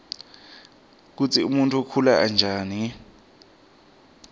kutsi umuntfu ukhula njani